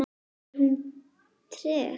Er hún treg?